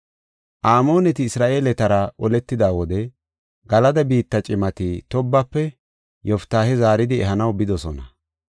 Amooneti Isra7eeletara oletida wode Galada biitta cimati Toobape Yoftaahe zaaridi ehanaw bidosona.